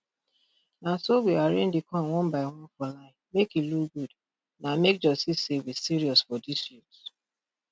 na so we arrange di corn one by one for line make e look good na make judge see say we serious for dis youth